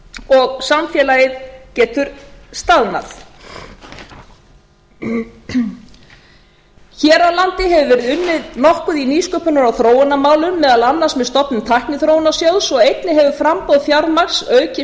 og samfélagið getur staðnað hér á landi hefur verið unnið nokkuð í nýsköpunar og þróunarmálum meðal annars með stofnun tækniþróunarsjóðs og einnig hefur framboð fjármagns aukist